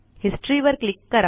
history वर click करा